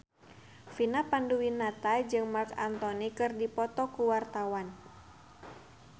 Vina Panduwinata jeung Marc Anthony keur dipoto ku wartawan